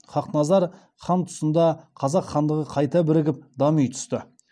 қасым ханның ханық сұлтан ханымнан туған баласы